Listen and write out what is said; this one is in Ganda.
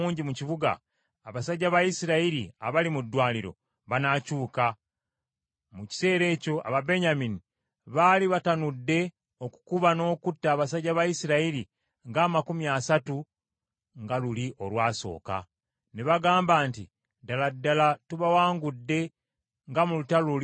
abasajja ba Isirayiri abali mu ddwaniro banaakyuka. Mu kiseera ekyo Ababenyamini baali batanudde okukuba n’okutta abasajja ba Isirayiri ng’amakumi asatu, nga luli olwasooka. Ne bagamba nti, “Ddala ddala tubawangudde nga mu lutalo luli olwasooka.”